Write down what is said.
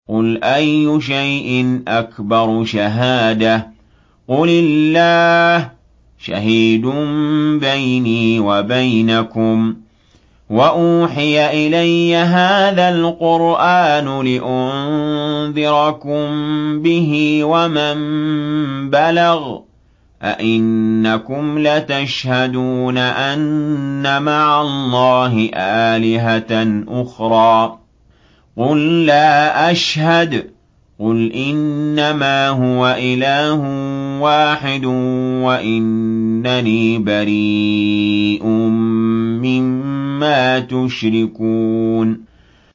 قُلْ أَيُّ شَيْءٍ أَكْبَرُ شَهَادَةً ۖ قُلِ اللَّهُ ۖ شَهِيدٌ بَيْنِي وَبَيْنَكُمْ ۚ وَأُوحِيَ إِلَيَّ هَٰذَا الْقُرْآنُ لِأُنذِرَكُم بِهِ وَمَن بَلَغَ ۚ أَئِنَّكُمْ لَتَشْهَدُونَ أَنَّ مَعَ اللَّهِ آلِهَةً أُخْرَىٰ ۚ قُل لَّا أَشْهَدُ ۚ قُلْ إِنَّمَا هُوَ إِلَٰهٌ وَاحِدٌ وَإِنَّنِي بَرِيءٌ مِّمَّا تُشْرِكُونَ